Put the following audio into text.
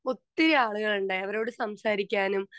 speaker 2 ഒത്തിരി ആളികളുണ്ടായി അവരോട് സംസാരിക്കാനും